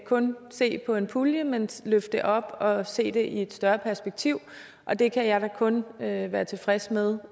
kun se på en pulje men løfte det op og se det i et større perspektiv og det kan jeg da kun være være tilfreds med